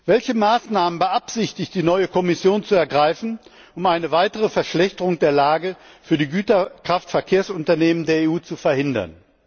Welche Maßnahmen beabsichtigt die neue Kommission zu ergreifen, um eine weitere Verschlechterung der Lage für die Güterkraftverkehrsunternehmen der EU zu verhindern?